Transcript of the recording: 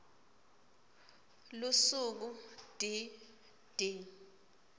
lusuku d d